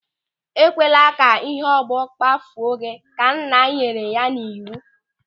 "E kwala ka ịhe ọgbọ kpafuo gị! " Ka nna nyere ya n'iwu.